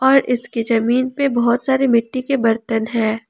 और इसकी जमीन पे बहुत सारे मिट्टी के बर्तन हैं।